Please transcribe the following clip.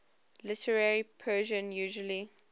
literary persian usually